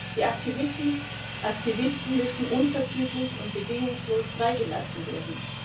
Die Aktivisten müssen unverzüglich und bedingungslos freigelassen werden.